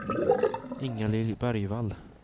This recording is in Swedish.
Ingalill Bergvall